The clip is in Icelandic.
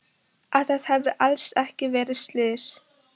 Að það hafi alls ekki verið slys.